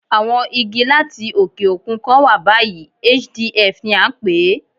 Àwọn Igi láti òkè òkun kan wà báyìí, HDF ni à ń pè é.